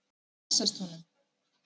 Hvernig heilsast honum?